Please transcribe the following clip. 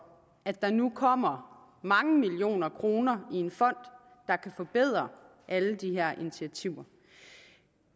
at der nu kommer mange millioner kroner i en fond der kan forbedre alle de her initiativer